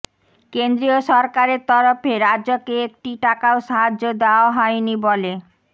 কেন্দ্রীয় সরকারের তরফে রাজ্যকে একটি টাকাও সাহায্য দেওয়া হয়নি বলে